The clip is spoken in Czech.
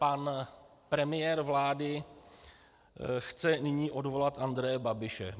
Pan premiér vlády chce nyní odvolat Andreje Babiše.